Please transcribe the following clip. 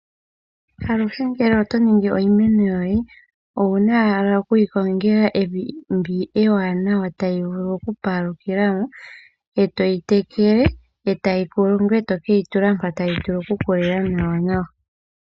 Aluhe ngele oto kunu iimeno yoye . Owuna ashike oku yi kongela evi ndi ewanawa tayi vulu oku kokela mo nawa etoyi tekele . Shampa ya koko ngoye eto yi kutha mu wuke yi tsike mpa tayi vulu oku kokela nawa.